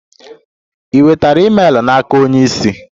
Ị nwetara email site n'aka onye isi?